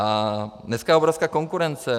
A dneska je obrovská konkurence.